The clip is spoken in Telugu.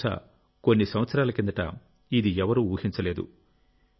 బహుశా కొన్ని సంవత్సరాల కిందట ఇది ఎవరూ ఊహించలేదు